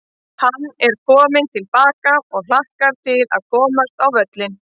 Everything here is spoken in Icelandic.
Hann er kominn til baka og hlakkar til að komast á völlinn.